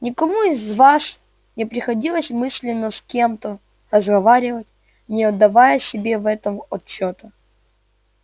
никому из вас не приходилось мысленно с кем-то разговаривать не отдавая себе в этом отчёта